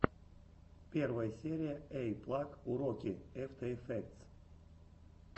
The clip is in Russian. первая серия эйиплаг уроки эфтэ эфектс